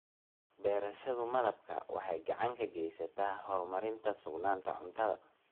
Beerashada malabka waxay gacan ka geysataa horumarinta sugnaanta cuntada.